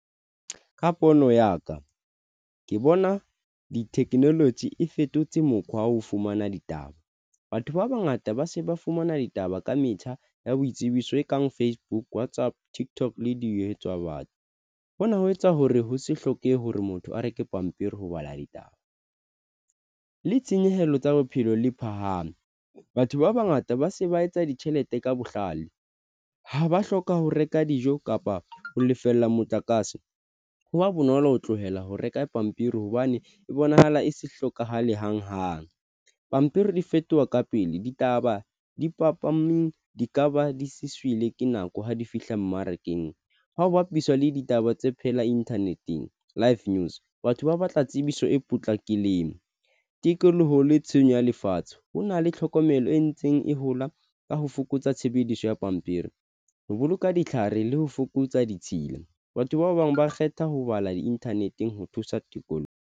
Ka pono ya ka ke bona di-technology, e fetotse mokgwa wa ho fumana ditaba. Batho ba bangata ba se ba fumana ditaba ka metjha ya boitsebiso e kang Facebook wa tsa TikTok, le di etswa batho. Hona ho etsa hore ho se hlokehe hore motho a reke pampiri, ho bala ditaba le tshenyehelo tsa bophelo le phahame. Batho ba bangata ba se ba etsa ditjhelete ka bohlale ha ba hloka ho reka dijo kapa ho lefella motlakase ho ba bonolo ho tlohela ho reka pampiri hobane e bonahala e se hlokahale hang hang. Pampiri di fetoha ka pele ditaba di papa mme di ka ba di sizwile, ke nako ha di fihla mmarakeng. Ha ho bapiswa le ditaba tse phela inthaneteng live news batho ba batla tsebiso e potlake lemo tikoloho le tshenyo ya lefatshe. Ho na le tlhokomelo e ntseng e hola ka ho fokotsa tshebediso ya pampiri, ho boloka ditlhare le ho fokotsa ditshila. Batho ba bang ba kgetha ho bala di-internet-eng ho thusa tikoloho.